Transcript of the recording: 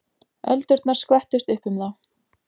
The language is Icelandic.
Öldurnar skvettust upp um þá.